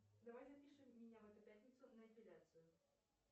давай запишем меня в эту пятницу на эпиляцию